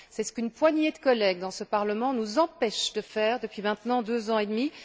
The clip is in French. C'est ce qu'une poignée de collègues dans ce Parlement nous empêchent de faire depuis maintenant deux ans et demi.